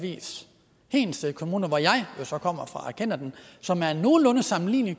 hedensted kommune hvor jeg jo så kommer fra jeg kender den og som er nogenlunde sammenlignelig